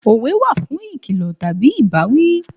Òwe wà fún ìkìlọ̀ tàbí ìbáwí